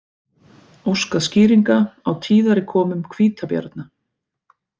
Óskað skýringa á tíðari komum hvítabjarna